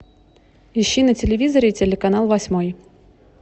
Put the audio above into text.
ищи на телевизоре телеканал восьмой